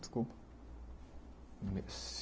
Desculpa.